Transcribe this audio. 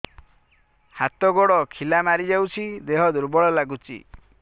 ହାତ ଗୋଡ ଖିଲା ମାରିଯାଉଛି ଦେହ ଦୁର୍ବଳ ଲାଗୁଚି